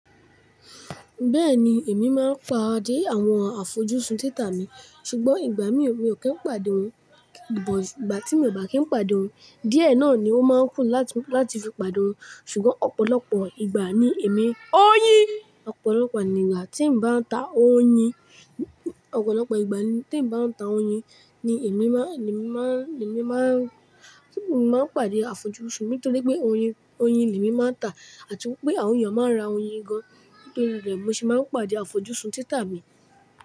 Bẹ́ẹ̀ni, èmi máa ń pa-adé àwọn afọjú sun títà mi, ṣùgbọ́n ìgbà mí ò kí ń pàdé wọn. Ìgbà tí mi ò bá kí ń pàdé wọn, díẹ̀ náà ni ó máa ń kù láti fi pàdé wọn. Ṣùgbọ́n ọ̀pọ̀lọpọ̀ ìgbà ni èmi, oyin, ọ̀pọ̀lọpọ̀ ìgbà tí n bá ń ta oyin, ọ̀pọ̀lọpọ̀ ìgbà tí n bá ń ta oyin ni èmi máa, èmi máa, èmi máa, ṣùgbọ́n èmi máa ń pàdé àfojú sun nítorí pé oyin, oyin mi máa ń tà àti wípé àwọn èèyàn máa ń ra oyin gan. Nítorí rẹ̀ mo se máa ń pàdé àfojú sun títà mi.